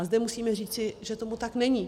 A zde musím říci, že tomu tak není.